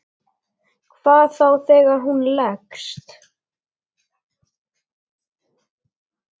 Hvað þá þegar hún leggst.